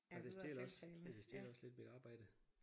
Og det stjæler også ja det stjæler også lidt mit arbejde